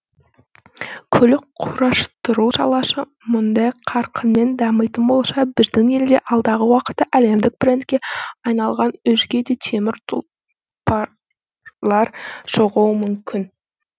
көлік құрастыру саласы мұндай қарқынмен дамитын болса біздің елде алдағы уақытта әлемдік брендке айналған өзге де темір тұлпарлар шығуы мүмкін